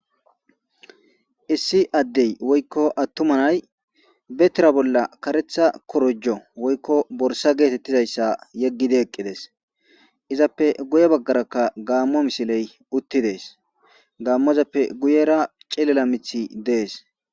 Issi adey woykon attuma nay be tira bolla korojo woykon borsa getetizaysa yegidi eqides izzzappe guye bagara gamo misiley uttides gamozappe guyera cilila mithiy des